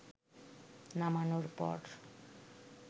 নামানোর পর